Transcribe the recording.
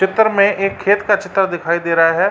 चित्तर (चित्र) में एक खेत का चित्तर (चित्र) दिखाई दे रहा है।